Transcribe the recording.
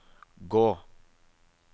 gå